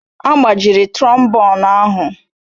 Agbajiri trombonu ahụ